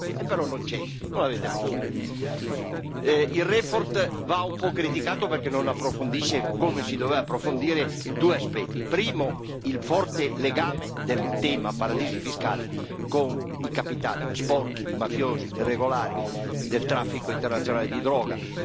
E però non c'è, non l'avete messo. La relazione va un po' criticata perché non approfondisce, come si doveva approfondire, due aspetti primo, il forte legame del tema dei paradisi fiscali con i capitali sporchi, mafiosi, irregolari, del traffico internazionale di droga.